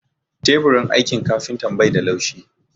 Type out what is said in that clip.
Teburin aikin kafintan bai da laushi